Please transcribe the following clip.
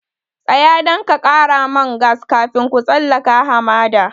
Tsaya nan ka ƙara man gas kafin ku tsallaka hamada!